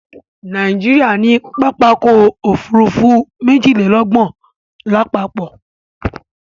Nàìjíríà ní pápákọ̀ ọ̀kọ òfurufú méjìlélọ́gbọ̀n lápapọ̀